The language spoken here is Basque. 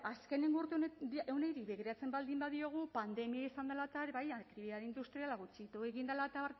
azkenengo urte honi begiratzen baldin badiogu pandemia izan dela eta bai aktibitate industriala gutxitu egin dela eta